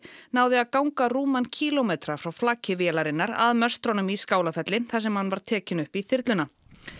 náði að ganga rúman kílómetra frá flaki vélarinnar að möstrunum í Skálafelli þar sem hann var tekinn upp í þyrluna